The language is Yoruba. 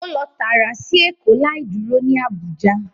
O lọ taara si Eko, lai duro ni Abuja